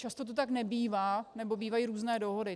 Často to tak nebývá nebo bývají různé dohody.